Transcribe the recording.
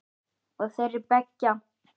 Og þeirra beggja.